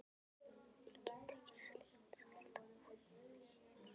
Ég get ekki sleikt salta húð þína hér.